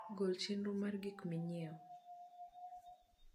gol chenro mar gik minyieo